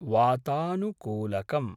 वातानुकूलकम्